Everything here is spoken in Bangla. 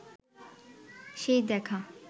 সেই দেখা